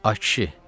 A kişi.